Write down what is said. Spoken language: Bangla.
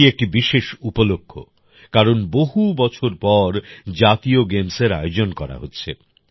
এটি একটি বিশেষ উপলক্ষ কারণ বহু বছর পর জাতীয় গেমসের আয়োজন করা হচ্ছে